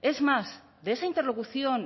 es más de esa interlocución